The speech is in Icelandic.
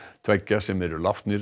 tveggja sem eru látnir